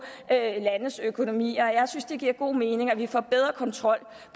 landes økonomier jeg synes det giver god mening at vi får bedre kontrol